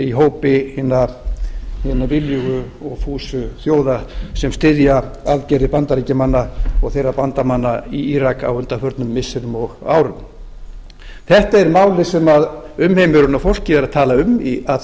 í hópi hinna viljugu og fúsu þjóða sem styðja aðgerðir bandaríkjamanna og þeirra bandamanna í írak á undanförnum missirum og árum þetta er málið sem umheimurinn og fólkið er að tala um að því